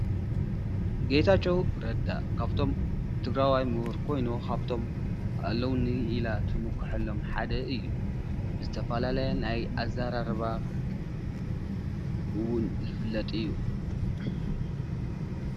ጌታቸዉ ረዳ ካብቶም ትግራዋይ ምሁር ኮይኑ ካብቶም ኣለዉኒ ኢላ ትምከሐሎም ሓደ እዩ። ዝተፋላለየ ናይ ኣዛራርባ እዉን ዝፍለጥ እዩ።